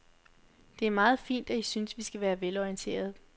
Det er meget fint, at I synes, vi skal være velorienterede.